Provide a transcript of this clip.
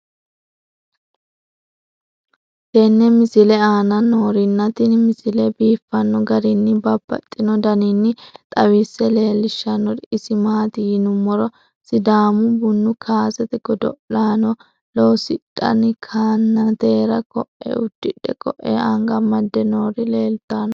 tenne misile aana noorina tini misile biiffanno garinni babaxxinno daniinni xawisse leelishanori isi maati yinummoro sidaamu buunu kassete godo'lanno loosidhinni kannateera koe udidhe koe anga amadde noori leelittanno